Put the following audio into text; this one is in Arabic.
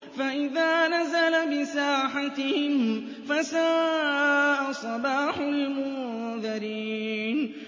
فَإِذَا نَزَلَ بِسَاحَتِهِمْ فَسَاءَ صَبَاحُ الْمُنذَرِينَ